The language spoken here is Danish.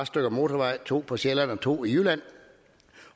stykker motorvej to på sjælland og to i jylland